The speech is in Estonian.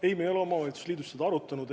Ei, me ei ole omavalitsuste liidus seda arutanud.